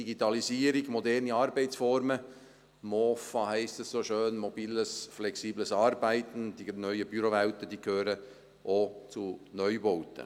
Die Digitalisierung, moderne Arbeitsformen – MOFA, wie das so schön heisst: mobiles, flexibles Arbeiten –, die neuen Bürowelten gehören auch zu Neubauten.